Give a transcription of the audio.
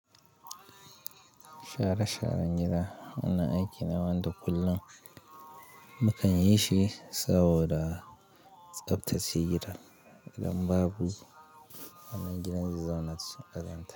Shara sharan gida, wannan aiki na wanda kullum mukan yi shi saboda tsaftar cikin gidan idan babu wannan gidan zazzau na cikin ƙaryarta.